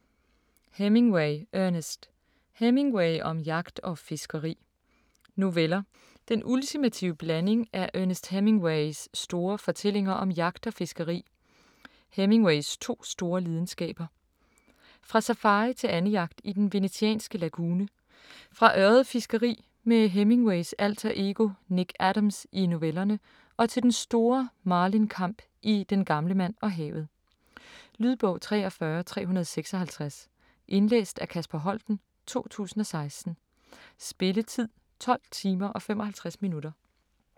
Hemingway, Ernest: Hemingway om jagt og fiskeri Noveller. Den ultimative blanding af Ernest Hemingways store fortællinger om jagt og fiskeri, Hemingways to store lidenskaber. Fra safari til andejagt i den venetianske lagune, fra ørredfiskeri med Hemingways alter ego Nick Adams i novellerne og til den store marlinkamp i "Den gamle mand og havet". Lydbog 43356 Indlæst af Kasper Holten, 2016. Spilletid: 12 timer, 55 minutter.